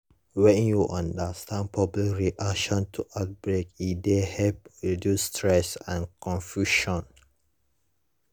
when you understand public reaction to outbreak e dey help reduce stress and confusion